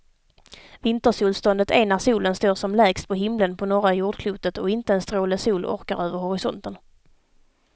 Vintersolståndet är när solen står som lägst på himlen på norra jordklotet och inte en stråle sol orkar över horisonten.